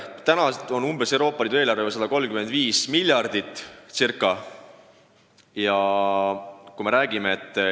Praegu on Euroopa Liidu eelarve 135 miljardit eurot.